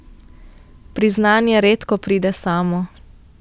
Priznanje redko pride samo.